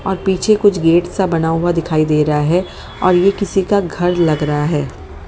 और पीछे कुछ गेट सा बना हुआ दिखाई दे रहा है और ये किसी का घर लग रहा है।